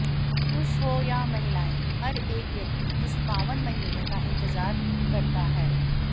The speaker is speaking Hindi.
पुरुष हो या महिलाएं हर एक व्यक्ति इस पावन महीने का इंतजार करता है